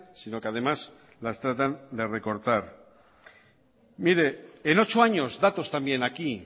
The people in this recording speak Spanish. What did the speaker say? sino que además las tratan de recortar mire en ocho años datos también aquí